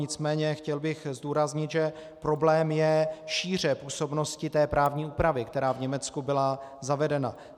Nicméně chtěl bych zdůraznit, že problém je šíře působnosti té právní úpravy, která v Německu byla zavedena.